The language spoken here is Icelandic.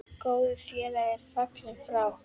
Góður félagi er fallinn frá.